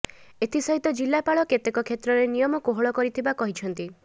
ଏଥି ସହିତ ଜିଲ୍ଲାପାଳ କେତେକ କ୍ଷେତ୍ରରେ ନିୟମ କୋହଳ କରିଥିବା କହିଛନ୍ତି